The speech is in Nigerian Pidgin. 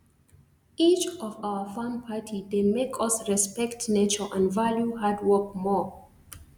each of our farm party dey make us respect nature and value hard work more